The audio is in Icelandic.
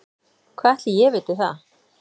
Hvað ætli ég viti það.